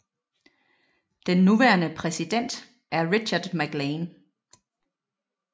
Den nuværende præsident er Richard MacLean